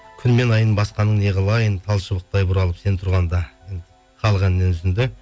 күн мен айын басқаның не қылайын тал шыбықтай бұралып сен тұрғанда халық әнінен үзінді